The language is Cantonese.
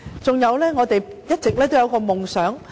再者，我們一直也有一個夢想。